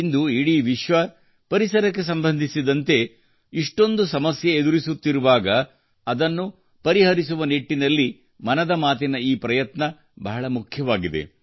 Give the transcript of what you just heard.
ಇಂದು ಇಡೀ ವಿಶ್ವ ಪರಿಸರಕ್ಕೆ ಸಂಬಂಧಿಸಿದಂತೆ ಇಷ್ಟೊಂದು ಸಮಸ್ಯೆ ಎದುರಿಸುತ್ತಿರುವಾಗ ಅದನ್ನು ಪರಿಹರಿಸುವ ನಿಟ್ಟಿನಲ್ಲಿ ಮನದ ಮಾತಿನ ಈ ಪ್ರಯತ್ನ ಬಹಳ ಮುಖ್ಯವಾಗಿದೆ